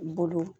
Bolo